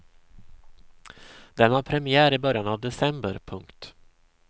Den har premiär i början av december. punkt